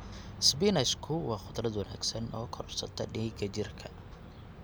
Isbaanishku waa khudrad wanaagsan oo korodhsata dhiigga jirka.